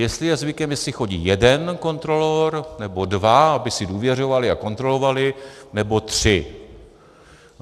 Jestli je zvykem, jestli chodí jeden kontrolor, nebo dva, aby si důvěřovali a kontrolovali, nebo tři.